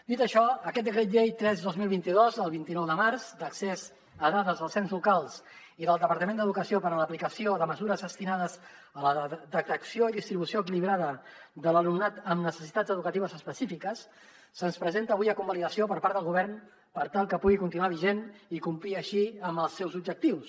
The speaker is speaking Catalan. dit això aquest decret llei tres dos mil vint dos del vint nou de març d’accés a dades dels ens locals i del departament d’educació per a l’aplicació de mesures destinades a la detecció i distribució equilibrada de l’alumnat amb necessitats educatives específiques se’ns presenta avui a convalidació per part del govern per tal que pugui continuar vigent i complir així els seus objectius